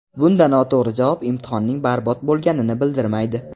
Bunda noto‘g‘ri javob imtihonning barbod bo‘lganini bildirmaydi.